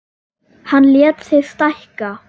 Hann lét sig stækka.